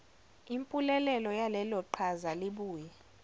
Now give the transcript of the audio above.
impulelelo yaleloqhaza libuye